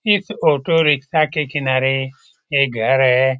इस auto rickshaw के किनारे एक घर है।